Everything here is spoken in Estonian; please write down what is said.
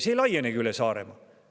See ei laiene ka üle Saaremaa.